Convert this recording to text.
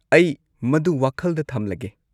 ꯑꯩ ꯃꯗꯨ ꯋꯥꯈꯜꯗ ꯊꯝꯂꯒꯦ꯫